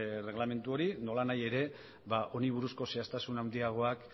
erreglamendu hori nolanahi ere ba honi buruzko zehaztasun handiagoak